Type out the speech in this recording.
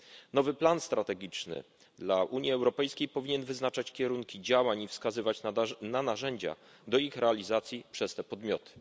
Nowy plan strategiczny dla Unii Europejskiej powinien wyznaczać kierunki działań i wskazywać na narzędzia do ich realizacji przez te podmioty.